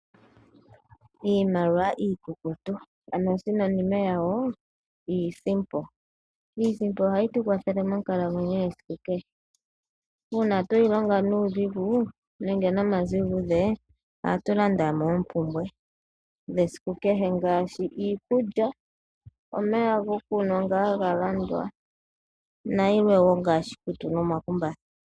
Iimaliwa iikukutu ano osinonime yawo iisimpo , iisimpo oha yi tukwathele monkalamwenyo yesiku kehe uuna tweyi longa nuudhigu nenge nomazigudhe oha tu landamo oompumbwe dhesiku kehe ngaashi iikulya, omeya gokunwa nga haga landwa nayilwe wo ngaashi iikutu nomakumbatha.